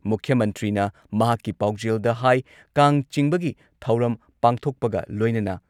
ꯃꯨꯈ꯭꯭ꯌ ꯃꯟꯇ꯭ꯔꯤꯅ ꯃꯍꯥꯛꯀꯤ ꯄꯥꯎꯖꯦꯜꯗ ꯍꯥꯏ ꯀꯥꯡ ꯆꯤꯡꯕꯒꯤ ꯊꯧꯔꯝ ꯄꯥꯡꯊꯣꯛꯄꯒ ꯂꯣꯏꯅꯅ